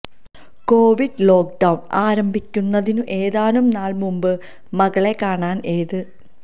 Covid lockdown ആരംഭിക്കുന്നതിനു ഏതാനും നാൾ മുൻപ് മകളെ കാണാൻ എത്